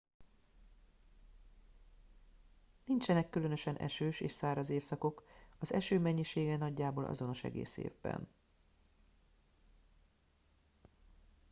nincsenek különösen esős és száraz évszakok az eső mennyisége nagyjából azonos egész évben